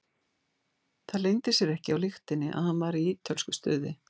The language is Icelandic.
Það leyndi sér ekki á lyktinni að hann var í ítölsku stuði.